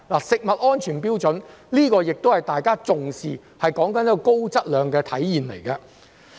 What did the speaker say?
食物安全標準是大家重視的，說的是高質量的體現。